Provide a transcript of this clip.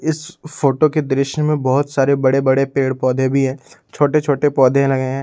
इस फोटो के दृश्य में बहौत सारे बड़े बड़े पेड़ पौधे भी हैं छोटे छोटे पौधे लगे हैं।